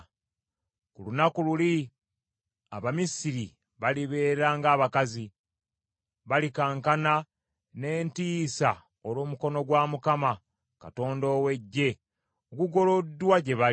Ku lunaku luli Abamisiri balibeera ng’abakazi. Balikankana n’entiisa olw’omukono gwa Mukama Katonda ow’Eggye ogugoloddwa gye bali.